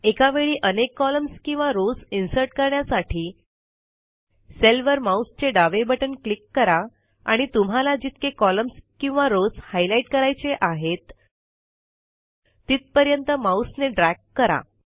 एकावेळी अनेक कॉलम्स किंवा रॉव्स इन्सर्ट करण्यासाठी सेलवर माऊसचे डावे बटण क्लिक करा आणि तुम्हाला जितके कॉलम्स किंवा रॉव्स हायलाईट करायचे आहेत तिथपर्यंत माऊसने ड्रॅग करा